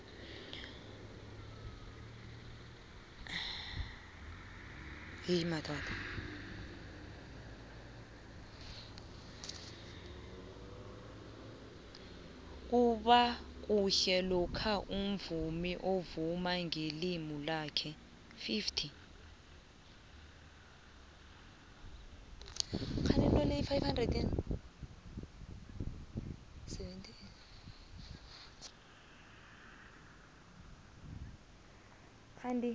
kubakuhle lokha umvumi avuma ngelimi lakhe